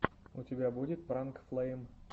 у тебя будет пранк флэйм